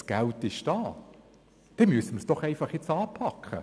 Nun geht es darum, das Ganze anzupacken.